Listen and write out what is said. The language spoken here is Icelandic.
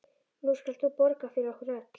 Nú skalt þú borga fyrir okkur öll.